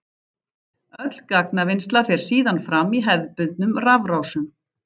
Öll gagnavinnsla fer síðan fram í hefðbundnum rafrásum.